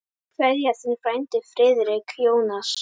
Kveðja, þinn frændi Friðrik Jónas.